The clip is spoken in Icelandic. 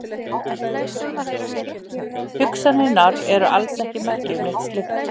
Hugsanirnar eru alls ekki merki um neitt slíkt.